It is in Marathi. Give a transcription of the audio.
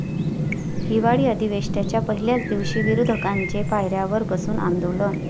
हिवाळी अधिवेशनाच्या पहिल्याच दिवशी विरोधकांचे पायऱ्यांवर बसून आंदोलन